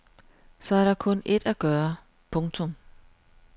Så er der kun ét at gøre. punktum